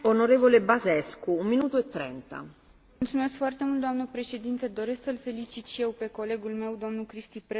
Doamnă președinte, doresc să îl felicit și eu pe colegul meu, domnul Cristi Preda, pentru un raport foarte concis și echilibrat.